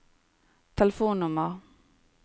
telefonnummer